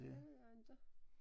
Det ved jeg inte